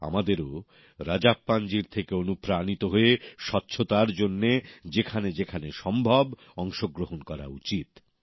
আমাদেরও রাজাপ্পানজির থেকে অনুপ্রাণিত হয়ে স্বচ্ছতার জন্যে যেখানে যেখানে সম্ভব সেই সব জায়গায় অংশগ্রহণ করা উচিত